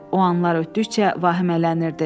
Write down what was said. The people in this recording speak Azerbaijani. O anlar ötdükcə vahimələnirdi.